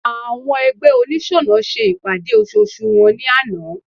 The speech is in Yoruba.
Àwọn ẹgbẹ́ oniṣọnà ṣe ìpàdé ososù wọn ní àná